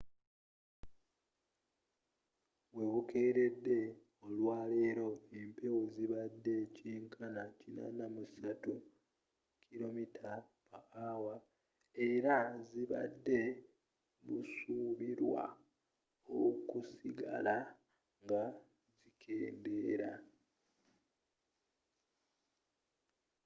webukeeredde olwaleero empewo zibadde kyenkana 83 km/h era zibadde busuubirwa okusigala nga zikendeera